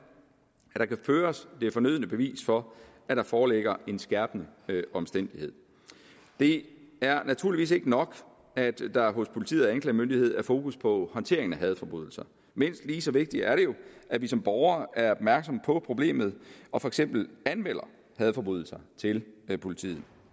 at der kan føres det fornødne bevis for at der foreligger en skærpende omstændighed det er naturligvis ikke nok at der hos politiet og anklagemyndigheden er fokus på håndteringen af hadforbrydelser mindst lige så vigtigt er det jo at vi som borgere er opmærksomme på problemet og for eksempel anmelder hadforbrydelser til politiet